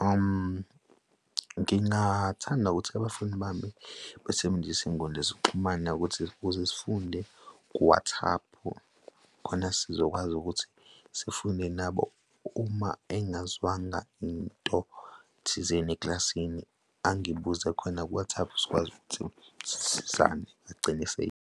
Ngingathanda ukuthi abafundi bami besebenzise iy'nkundla zokuxhumana ukuthi, ukuze sifunde ku-WhatsApp-u, khona sizokwazi ukuthi sifunde nabo, uma engazwanga into thizeni ekilasini angibuze khona ku-WhatsApp sikwazi ukuthi sisizane agcine .